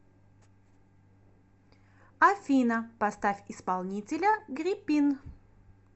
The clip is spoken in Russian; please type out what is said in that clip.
афина поставь исполнителя грипин